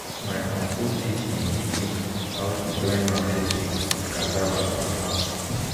my uncle teach him pikin how to join mango tree with cassava for farm